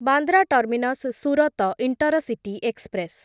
Bandra terminus Surat intercity express